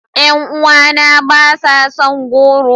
Yan uwana ba sa son goro.